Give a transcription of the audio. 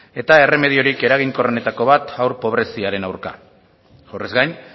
eta erremediorik eraginkorrenetako bat haur pobreziaren aurka horrez gain